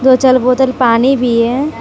दो चार बोतल पानी भी है।